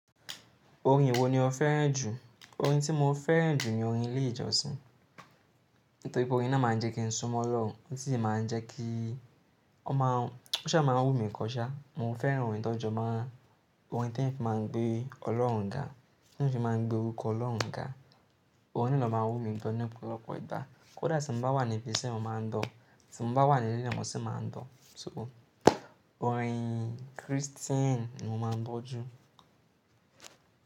Orin wo ni o fẹ́ràn jù? Orin tí mo fẹ́ràn jù ni orin ilé ìjọsìn. Nítorí pé orin náà máa ń jẹ́ kí n sọmọlórùn, ó sì máa ń jẹ́ kí ó máa-- ó ṣé máa ń wù mí kọ sa. Mo fẹ́ràn orin tó jọ máa-- orin tí wọ́n fi máa ń gbé Ọlọ́run ga, tí wọ́n fi máa ń gbé orúkọ Ọlọ́run ga. Orin náà ló máa ń wù mí gan ní ọ̀pọ̀lọpọ̀ ìgbà. Kódà tí mo bá wà níbi ise mo máa ń gbọ̀, tí mo bá wà nílé mó ṣé máa ń gbo. So orin Kristẹni ni mo máa ń gbọ́ jù.